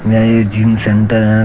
यह एक gym centre है।